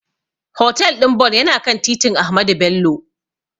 Hotel ɗin Bon yana kan titin Ahmadu Bello.